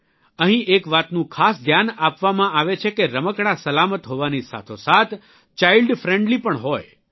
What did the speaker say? અહીં એક વાતનું ખાસ ધ્યાન આપવામાં આવે છે કે રમકડાં સલામત હોવાની સાથોસાથ ચાઇલ્ડ ફ્રેન્ડલી પણ હોય